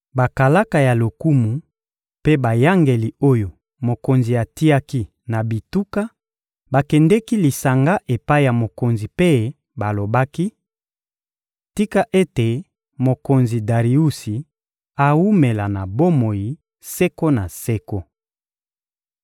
Bakalaka ya lokumu mpe bayangeli oyo mokonzi atiaki na bituka bakendeki lisanga epai ya mokonzi mpe balobaki: — Tika ete mokonzi Dariusi awumela na bomoi seko na seko!